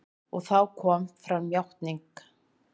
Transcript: Og þá kom fram játning.